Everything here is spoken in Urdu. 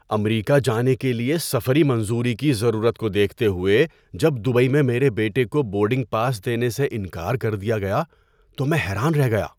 امریکہ جانے کے لیے سفری منظوری کی ضرورت کو دیکھتے ہوئے جب دبئی میں میرے بیٹے کو بورڈنگ پاس دینے سے انکار کر دیا گیا تو میں حیران رہ گیا۔